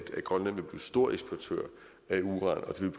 grønland vil blive storeksportør af uran